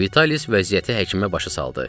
Vitalis vəziyyəti həkimə başa saldı.